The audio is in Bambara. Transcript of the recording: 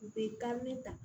U bɛ kari ta